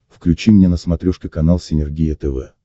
включи мне на смотрешке канал синергия тв